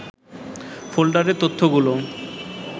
ফোল্ডারের তথ্যগুলো